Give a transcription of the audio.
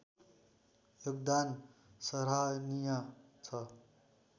योगदान सराहनीय छ